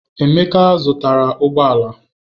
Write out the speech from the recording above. Emeka zụtara ụgbọ ala.